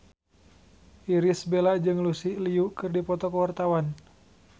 Irish Bella jeung Lucy Liu keur dipoto ku wartawan